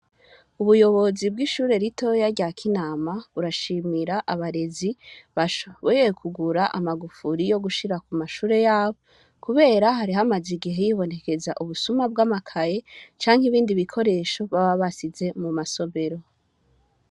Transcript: Ubuyobozi bw'ishure ritoyi rya kinama burashimira abarezi bashoboye kugura amagufuri yo gushira kumashure yabo kubera hari hamaze imisi hibonekeza ubusuma bw'amakaye canke ibindi bikoresho baba basize mu masomero.